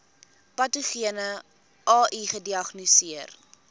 patogene ai gediagnoseer